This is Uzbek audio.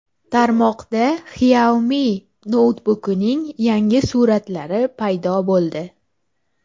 Tarmoqda Xiaomi noutbukining yangi suratlari paydo bo‘ldi.